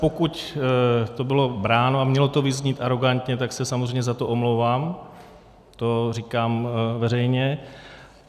Pokud to bylo bráno a mělo to vyznít arogantně, tak se samozřejmě za to omlouvám, to říkám veřejně.